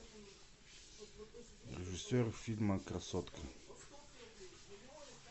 режиссер фильма красотка